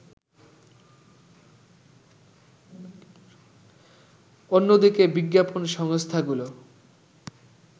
অন্যদিকে বিজ্ঞাপন সংস্থাগুলো